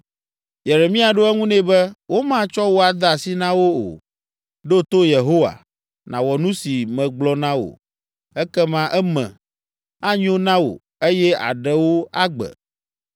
Yeremia ɖo eŋu nɛ be, “Womatsɔ wò ade asi na wo o. Ɖo to Yehowa, nàwɔ nu si megblɔ na wò, ekema eme anyo na wò eye àɖe wò agbe.